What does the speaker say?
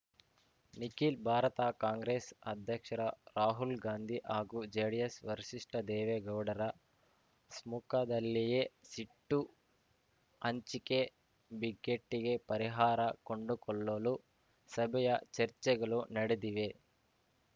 ನಿಖಿಲ್ ಭಾರತ ಕಾಂಗ್ರೆಸ್ ಅಧ್ಯಕ್ಷ ರಾ ರಾಹುಲ್‌ಗಾಂಧಿ ಹಾಗೂ ಜೆಡಿಎಸ್ ವರಿಶಿಷ್ಠ ದೇವೇಗೌಡರ ಸ್ಮುಖದಲ್ಲಿಯೇ ಸಿಟ್ಟು ಹಂಚಿಕೆ ಬಿಕ್ಕೆಟ್ಟಿಗೆ ಪರಿಹಾರ ಕೊಂಡುಕೊಳ್ಳಲು ಸಭೆಯ ಚರ್ಚೆಗಳು ನಡೆದಿವೆ